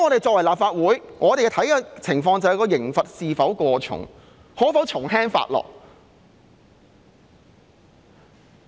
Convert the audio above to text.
作為立法會議員，我們看的就是刑罰是否過重，可否從輕發落？